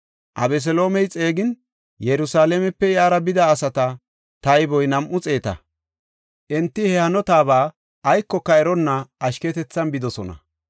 Abeseloomey xeegin, Yerusalaamepe iyara bida asata tayboy nam7u xeeta. Enti he hanotaba aykoka eronna ashketethan bidosona.